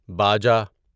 باجا